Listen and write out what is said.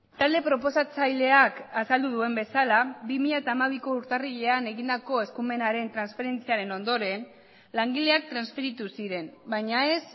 talde proposatzaileak azaldu duen bezala bi mila hamabiko urtarrilean egindako eskumenaren transferentziaren ondoren langileak transferitu ziren baina ez